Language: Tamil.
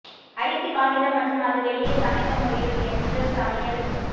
அரிசி காகிதம் மற்றும் அது வெளியே சமைத்த முடியும் என்று சமையல்